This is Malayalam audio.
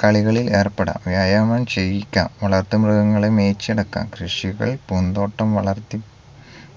കളികളിൽ ഏർപ്പെടാം വ്യായാമം ചെയ്യിക്കാം വളർത്തുമൃഗങ്ങളെ മേയിച്ചു നടക്കാം കൃഷികൾ പൂന്തോട്ടം വളർത്തി